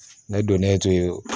Ne donnen to